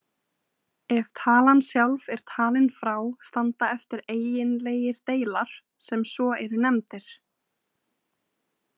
Ef talan sjálf er talin frá standa eftir eiginlegir deilar sem svo eru nefndir.